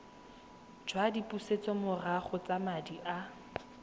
jwa dipusetsomorago tsa madi a